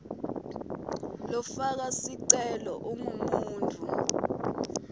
lofaka sicelo ungumuntfu